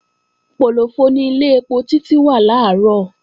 Pòlòfọ ni ilé ẹpo Títí wà làárọ̀